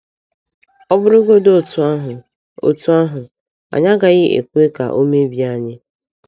Ọ̀ bụrụgodị otú ahụ, otú ahụ, anyị agaghị ekwe ka ọ mebie anyị.